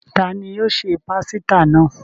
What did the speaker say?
Ta ni yóò se pásítà náà?